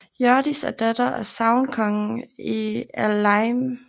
Hjørdis er datter af sagnkongen Eylime